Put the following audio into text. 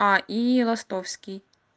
и ростовский